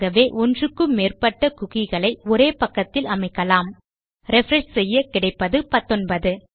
ஆகவே ஒன்றுக்கு மேற்பட்ட குக்கி களை ஒரு பக்கத்தில் அமைக்கலாம்refresh செய்ய கிடைப்பது 19